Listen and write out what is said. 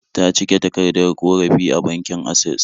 Ta cike takardar ƙorafi a bankin Asses